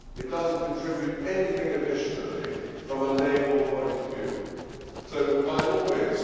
It does not contribute anything additionally from a naval point of view. So by all means.